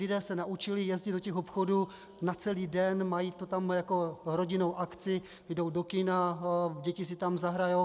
Lidé se naučili jezdit do těch obchodů na celý den, mají to tam jako rodinnou akci, jdou do kina, děti si tam zahrají.